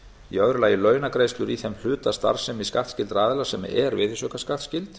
í öðru lagi launagreiðslur í þeim hluta starfsemi skattskyldra aðila sem er virðisaukaskattsskyld